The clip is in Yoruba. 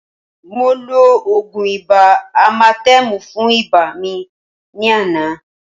Mo lo ògùn ibà amatẹ́mù fún ibà mi ní àná